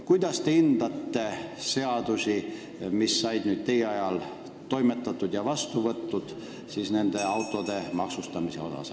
" Kuidas te hindate seadusi autode maksustamise kohta, mis on nüüd teie ajal vastu võetud?